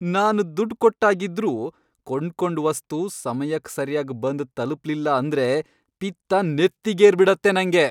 ನಾನ್ ದುಡ್ಡ್ಕೊಟ್ಟಾಗಿದ್ರೂ ಕೊಂಡ್ಕೊಂಡ್ ವಸ್ತು ಸಮಯಕ್ ಸರ್ಯಾಗ್ ಬಂದ್ ತಲ್ಪ್ಲಿಲ್ಲ ಅಂದ್ರೆ ಪಿತ್ತ ನೆತ್ತಿಗೇರ್ಬಿಡತ್ತೆ ನಂಗೆ.